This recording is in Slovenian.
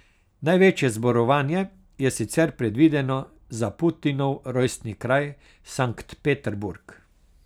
Največje zborovanje je sicer predvideno za Putinov rojstni kraj Sankt Peterburg.